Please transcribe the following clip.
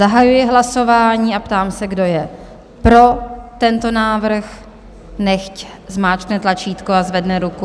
Zahajuji hlasování a ptám se, kdo je pro tento návrh, nechť zmáčkne tlačítko a zvedne ruku.